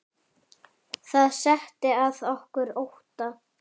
Það setti að okkur ótta.